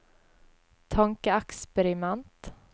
tankeeksperiment